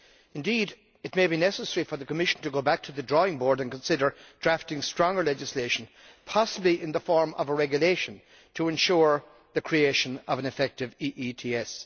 Indeed, it may be necessary for the Commission to go back to the drawing board and consider drafting stronger legislation possibly in the form of a regulation to ensure the creation of an effective EETS.